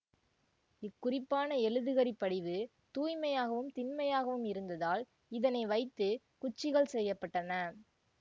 இக்குறிப்பான எழுதுகரிப் படிவு தூய்மையாகவும் திண்மையாகவும் இருந்ததால் இதனை வைத்து குச்சிகள் செய்ய பட்டன